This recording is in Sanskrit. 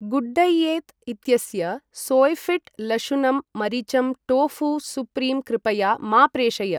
गुड्डैयेत् इत्यस्य सोइफिट् लशुनम् मरीचम् टोफू सुप्रीम् कृपया मा प्रेषय।